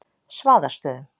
Svaðastöðum